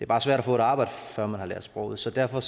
bare svært at få et arbejde før man har lært sproget så derfor